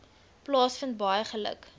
plaasvind baie geluk